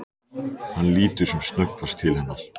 Hann lítur sem snöggvast til hennar.